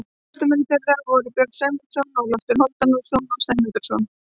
Forystumenn þeirra voru þá Björn Sæmundarson og Loftur Hálfdanarson Sæmundarsonar.